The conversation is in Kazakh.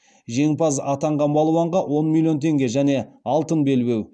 жеңімпаз атанған балуанға он миллион теңге және алтын белбеу